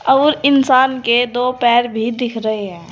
और इंसान के दो पैर भी दिख रहे हैं।